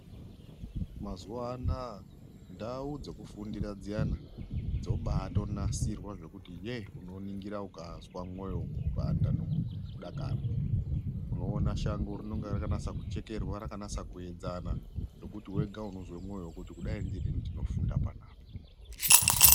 Mazuva anawa ndau dzekufundira dziyani dzibanasirwa zvekuti unonigira ukazwa mwoyo kupanda nekudakara unokona shango rinenge rakanyaso kuchekerwa rakanyasa kuenzana zvekuti unoznwa mwoyo kurwadza kuti dai ndaifunda panapa.